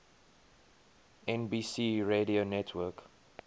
nbc radio network